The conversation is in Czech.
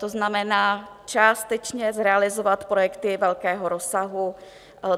To znamená částečně zrealizovat projekty velkého rozsahu.